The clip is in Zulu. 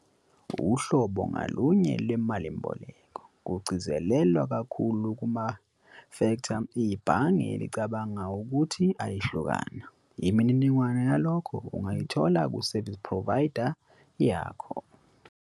Uhlobo ngalonye lwemalimboleko, kugcizelelwa kakhulu kumafektha ibhange elicabanga ukuhi ayahlukana. Imininingwane yalokhu ungayithola ku-service provider yakho.